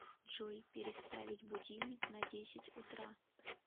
джой переставить будильник на десять утра